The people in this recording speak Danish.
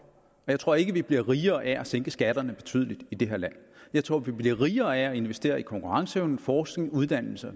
jeg tror ikke vi bliver rigere af at sænke skatterne betydeligt i det her land jeg tror vi bliver rigere af at investere i konkurrenceevne forskning uddannelse og